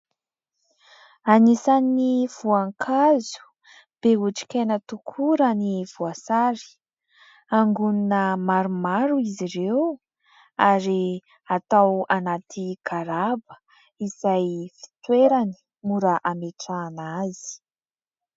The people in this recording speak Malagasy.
Anisan'ny voankazo be otrikaina tokoa raha ny voasary. Angonona maromaro izy ireo ary atao anaty garaba izay fitoerany mora ametrahana azy.